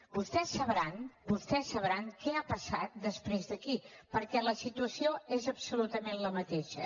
vostès deuen saber què ha passat després d’aquí perquè la situació és absolutament la mateixa